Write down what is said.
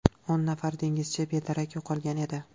O‘n nafar dengizchi bedarak yo‘qolgan edi.